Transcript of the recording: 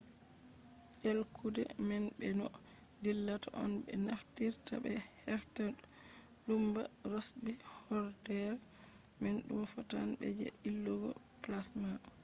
ɗelkude man be no dillata on ɓe naftirta ɓe hefta numba rosbi hoodere man ɗum fotan be je ilugo plasma